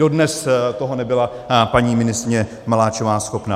Dodnes toho nebyla paní ministryně Maláčová schopná.